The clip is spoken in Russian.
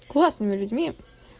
классными людьми